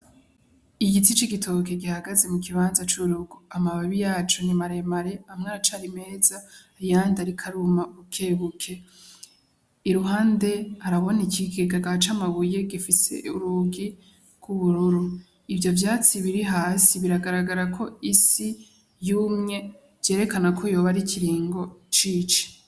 Igiti c'igitoki gihagaze mu kibanza c'urugo amababi yaho ni maremare amwe aracari meza ayandi ariko aruma bukebuke, iruhande haraboneka ikigega c'amabuye gifise urugi gw'ubururu, ivyo vyatsi biri hasi biragaragara ko isi yumye vyerekana ko yoba ari ikiringo c'ici.